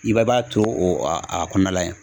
I bɛɛ b'a to o a a kɔnɔna la yen.